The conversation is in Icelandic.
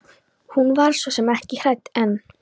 Hún var svo sem ekki hrædd en.